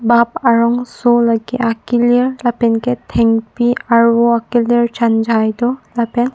bap arongso lake akelir lapenke thengpi arvo akelir chanjai do lapen--